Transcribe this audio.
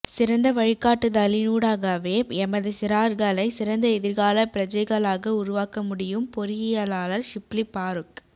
சிறந்த வழிகாட்டுதலினூடாகவே எமது சிறார்களை சிறந்த எதிர்கால பிரஜைகளாக உருவாக்க முடியும் பொறியியலாளர் ஷிப்லி பாறூக்